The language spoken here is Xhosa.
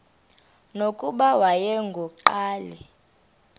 nokuba wayengu nqal